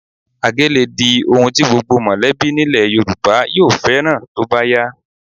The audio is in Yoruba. Àgé lè di ohun tí gbogbo mọ̀lẹ́bí nílẹ̀ Yorùbá yóò fẹ́ràn tó bá yá